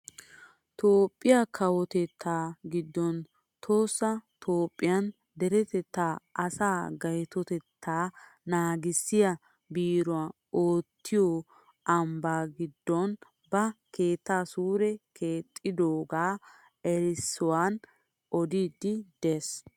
Toophphiyaa kawotettaa giddon tohossa tophphiyaan deretettaa asaa gaytotettaa naagissiyaa biiroy uttiyoo ambbaa giddon ba keetta suure keexxidoogaa erissuwaan odiidi de'ees!